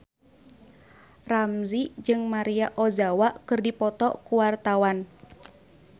Ramzy jeung Maria Ozawa keur dipoto ku wartawan